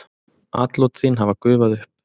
Atlot þín hafa gufað upp.